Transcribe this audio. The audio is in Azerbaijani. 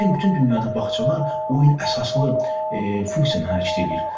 Bu gün bütün dünyada bağçalar oyun əsaslı funksiyaları hərəkət eləyir.